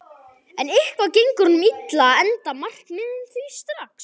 En eitthvað gengur honum illa að enda markmiðin því strax